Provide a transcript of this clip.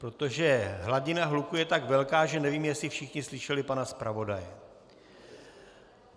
Protože hladina hluku je tak velká, že nevím, jestli všichni slyšeli pana zpravodaje.